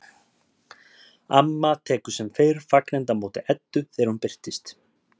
Amma tekur sem fyrr fagnandi á móti Eddu þegar hún birtist.